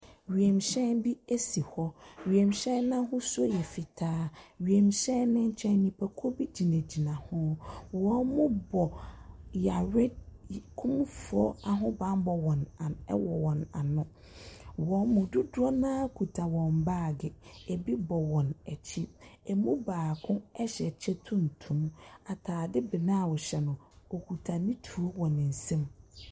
Wiemhyɛn bi si hɔ. Wiemhyɛn no ahosuo yɛ fitaa. Wiemhyɛn no nkyɛn nnipakuo bi gyinagyina ho. Wɔbɔ yare y kumfoɔ ahobammɔ wɔn an wɔ wɔn ano. Wɔn mu dodoɔ no ara kuta wɔn baage. Ebi bɔ wɔn akyi. Ɛmu baako hyɛ kyɛ tuntum. Atade brown hyɛ no. ɔkuta ne tuo wɔ ne nsam.